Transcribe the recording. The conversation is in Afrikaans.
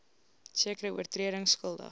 sekere oortredings skuldig